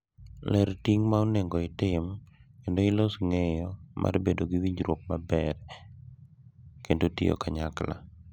Ler ting’ ma onego itim kendo ilos ng’eyo mar bedo gi winjruok maber kendo tiyo kanyakla.